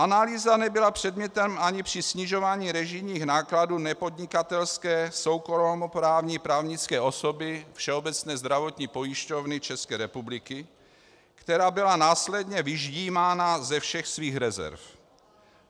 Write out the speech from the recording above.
Analýza nebyla předmětem ani při snižování režijních nákladů nepodnikatelské soukromoprávní právnické osoby Všeobecné zdravotní pojišťovny České republiky, která byla následně vyždímána ze všech svých rezerv.